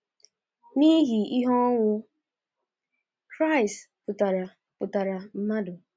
N’ihi ihe ọnwụ Kraịst pụtaara pụtaara mmadụ.